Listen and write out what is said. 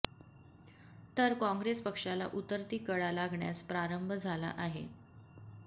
तर काँग्रेस पक्षाला उतरती कळा लागण्यास प्रारंभ झाला आहे